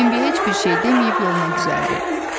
Bembi heç bir şey deməyib yoluna düzəldi.